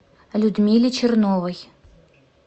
людмиле черновой